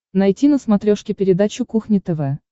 найти на смотрешке передачу кухня тв